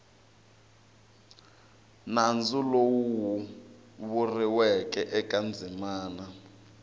nandzu lowu vuriweke eka ndzimana